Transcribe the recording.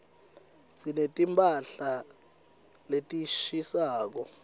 sineti mphahla letishisako